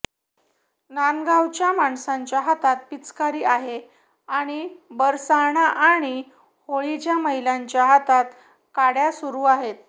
नांदगावच्या माणसांच्या हातात पिचकारी आहे आणि बरसाणा आणि होळीच्या महिलांच्या हातात काड्या सुरू आहेत